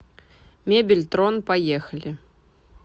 мебель трон поехали